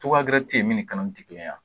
min ni kanali tɛ kelen ye wa?